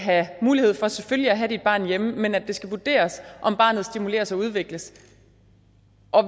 have mulighed for selvfølgelig at have dit barn hjemme men at det skal vurderes om barnet stimuleres og udvikles